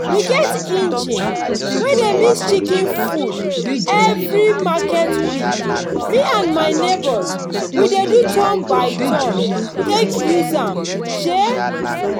we get engine wey dey mix chicken food. every market week me and my neighbors we dey do turn-by-turn take use am. um